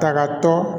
Kagatɔ